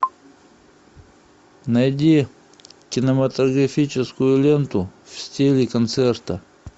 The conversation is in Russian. найди кинематографическую ленту в стиле концерта